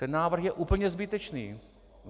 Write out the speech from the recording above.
Ten návrh je úplně zbytečný.